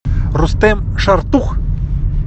рустем шартух